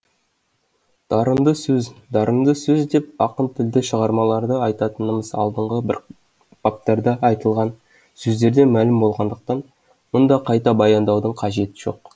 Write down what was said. дарынды сөз дарынды сөз деп ақын тілді шығармаларды айтатынымыз алдыңғы баптарда айтылған сөздерден мәлім болғандықтан мұнда қайта баяндаудың қажеті жоқ